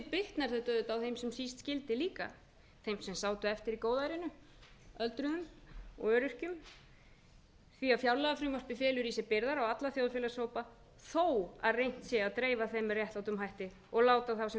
bitnar þetta auðvitað á þeim sem síst skyldi líka þeim sem sátu eftir í góðærinu öldruðum og öryrkjum því fjárlagafrumvarpið felur í sér byrðar á alla þjóðfélagshópa þó reynt sé að dreifa þeim með réttlátum hætti og láta þá sem